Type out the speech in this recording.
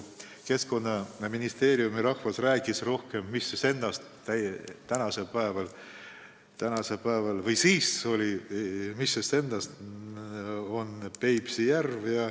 Keskkonnaministeeriumi rahvas rääkis meile rohkem sellest, mis seisus on Peipsi järv.